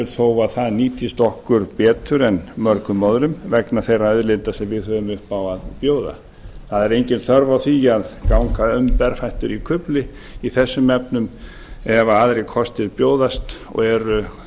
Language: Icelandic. þó að það nýtist okkur betur en mörgum öðrum vegna þeirra auðlinda sem við höfum upp á að bjóða það er engin þörf á því að ganga um berfættur í kufli í kufli í þessum efnum ef aðrir kostir bjóðast og eru